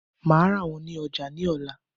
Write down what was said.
Màá rà wón ní ojà ní òla